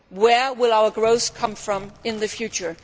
this. Where will our growth come from in the future?